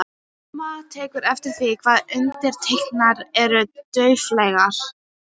Mamma tekur eftir því hvað undirtektirnar eru dauflegar.